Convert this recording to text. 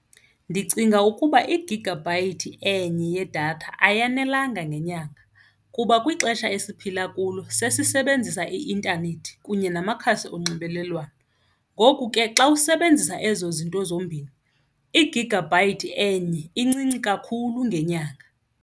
Ndicinga ukuba igigabhayithi enye yedatha ayanelanga ngenyanga kuba kwixesha esiphila kulo sesisebenzisa i-intanethi kunye namakhasi onxibelelwano, ngoku ke xa usebenzisa ezo zinto zombini igigabhayithi enye incinci kakhulu ngenyanga.